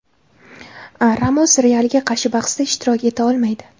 Ramos "Real"ga qarshi bahsda ishtirok eta olmaydi.